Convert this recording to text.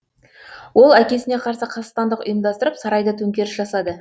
ол әкесіне қарсы қастандық ұйымдастырып сарайда төңкеріс жасады